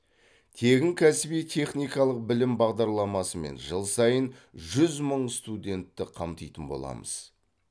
тегін кәсіби техникалық білім бағдарламасы мен жыл сайын жүз мың студентті қамтитын боламыз